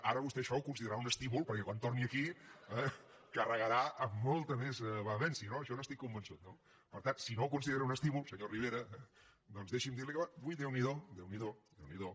ara vostè això ho considerarà un estímul perquè quan torni aquí eh carregar amb molta més vehemència no d’això n’estic convençut no per tant si no ho considera un estímul senyor rivera doncs deixi’m dirli que avui déu n’hi do déu n’hi do